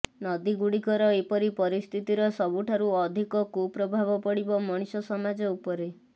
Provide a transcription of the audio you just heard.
ନଦୀ ଗୁଡ଼ିକର ଏପରି ପରିସ୍ଥିତିର ସବୁଠାରୁ ଅଧିକ କୁପ୍ରଭାବ ପଡ଼ିବ ମଣିଷ ସମାଜ ଉପରେ